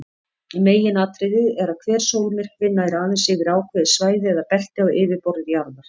Meginatriðið er að hver sólmyrkvi nær aðeins yfir ákveðið svæði eða belti á yfirborði jarðar.